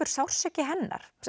sársauki hennar